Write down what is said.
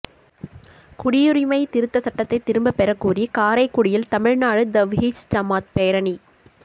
குடியுரிமை திருத்தச் சட்டத்தை திரும்பப் பெறக்கோரி காரைக்குடியில் தமிழ்நாடு தவ்ஹீத்ஜமாத் பேரணி